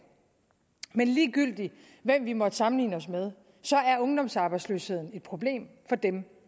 men ligegyldigt hvem vi måtte sammenligne os med er ungdomsarbejdsløsheden et problem for dem